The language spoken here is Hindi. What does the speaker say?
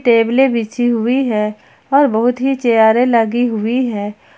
टेबलें बिछी हुई है और बहुत ही चेयरें लगी हुई है।